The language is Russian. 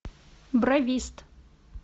бровист